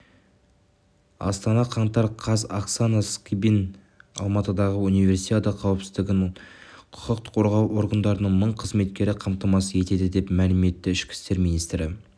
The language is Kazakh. астана қаңтар қаз оксана скибан алматыдағы универсиада қауіпсіздігін құқық қорғау органдарының мың қызметкері қамтамасыз етеді деп мәлім етті ішкі істер министрі